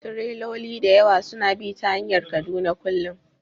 Tireloli da yawa suna bi ta hanyar Kaduna kullum